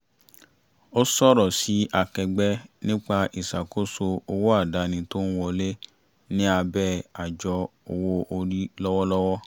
ó sọ̀rọ̀ sí akẹgbẹ́ nípa ìṣàkóso owó àdáni tó ń wọlé ní abẹ́ àjọ owó orí lọ́wọ́lọ́wọ́